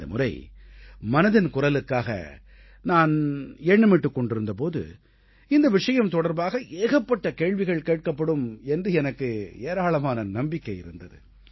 இந்த முறை மனதின் குரலுக்காக நான் எண்ணமிட்டுக் கொண்டிருந்த போது இந்த விஷயம் தொடர்பாக ஏகப்பட்ட கேள்விகள் கேட்கப்படும் என்று எனக்கு ஏராளமாக நம்பிக்கை இருந்தது